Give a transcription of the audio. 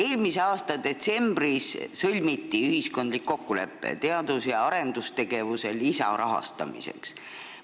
Eelmise aasta detsembris sõlmiti ühiskondlik kokkulepe teadus- ja arendustegevuse lisarahastamiseks.